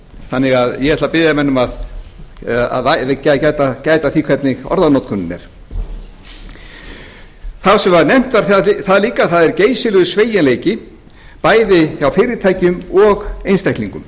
þannig að ég ætla að biðja menn um að gæta að því hvernig orðanotkunin er talvert var nefnt þar líka að það er geysilegur sveigjanleiki bæði hjá fyrirtækjum og einstaklingum